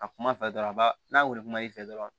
A kuma fɛ dɔrɔn a ba n'a wili ma i fɛ dɔrɔn